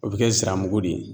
O bɛ kɛ ziramugu de ye.